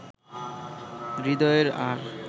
হৃদয়ের আর